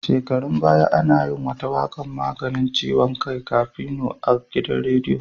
Shekarun baya ana yin wata waƙar 'maganin ciwon kai Kafino' a gidan rediyo.